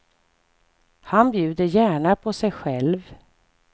Han bjuder gärna på sig sjäv.